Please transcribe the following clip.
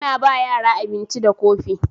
Ana ba yara abinci da kofi